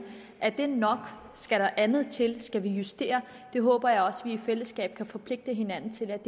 er nok skal der andet til skal vi justere det håber jeg også vi i fællesskab vil forpligte hinanden til at